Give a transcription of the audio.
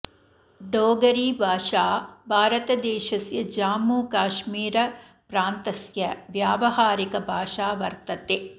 डोगरी भाषाः भारतदेशस्य जाम्मु काश्मिरप्रान्तस्य व्यवहारिक भाषा वतर्ते